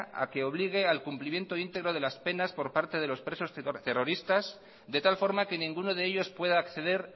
a que obligue al cumplimiento íntegro de las penas por parte de los presos terroristas de tal forma que ninguno de ellos pueda acceder